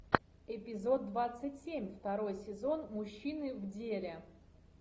эпизод двадцать семь второй сезон мужчины в деле